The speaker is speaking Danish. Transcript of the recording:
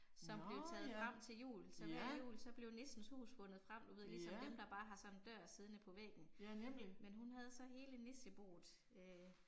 Som blev taget frem til jul så hver jul så blev nissens hus fundet frem du ved ligesom dem der bare har sådan en dør siddende på væggen, men hun havde så hele nisseboet øh